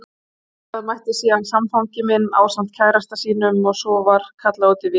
Þangað mætti síðan samfangi minn ásamt kærasta sínum og svo var kallað út í vél.